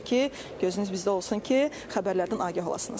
Odur ki, gözünüz bizdə olsun ki, xəbərlərdən agah olasınız.